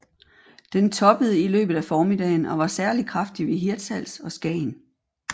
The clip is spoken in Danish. Den toppede i løbet af formiddagen og var særlig kraftig ved Hirtshals og Skagen